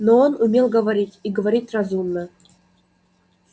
но он умел говорить и говорить разумно